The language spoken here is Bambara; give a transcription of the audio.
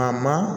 A ma